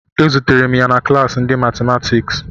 Ezutere m ya na klassi ndị matimatiks